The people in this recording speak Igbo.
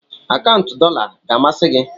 akaụntụ dollar ga-amasị gị?